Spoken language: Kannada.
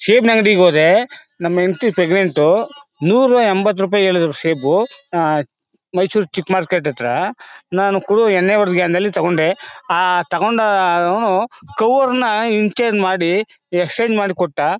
ಸೇಬಿನ ಅಂಗಡಿಗೆ ಹೋದೆ ನಮ್ ಹೆಂಡ್ತಿ ಪ್ರೇಗ್ನನ್ಟ್ ನೂರಾ ಎಂಬತ್ತು ರೂಪಾಯಿ ಹೇಳಿದ್ರು ಸೇಬು ಆಹ್ಹ್ ಮೈಸೂರ್ ಚಿಕ್ ಮಾರ್ಕೆಟ್ ಹತ್ರ ನಾನು ಕುಡಿದ್ ಎಣ್ಣೆ ಹೊಡೆದ್ ಜ್ಞಾನದಲ್ಲಿ ತಗೊಂಡೆ ಆಹ್ಹ್ ತಗೊಂಡು ಅವ್ನ್ ಕವರ್ ನ ಇಂಚಿಡ್ ಮಾಡಿ ಎಕ್ಸ್ಚೇಂಜ್ ಮಾಡ್ ಕೊಟ್ಟ.